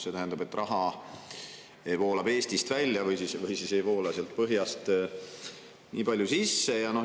See tähendab, et raha voolab Eestist välja või ei voola seda põhja poolt nii palju sisse.